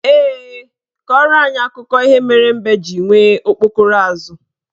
Ee, kọrọ anyị akụkọ ihe mere mbe ji nwere okpokoro azụ.